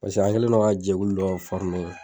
Pase an kɛlen don la jɛkuli dɔ fɔrime